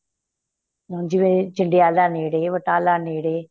ਜਿਵੇਂ ਜੰਡਿਆਂਲਾ ਨੇੜੇ ਬਟਾਲਾ ਨੇੜੇ